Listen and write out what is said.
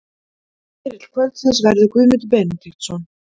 Spyrill kvöldsins verður Guðmundur Benediktsson.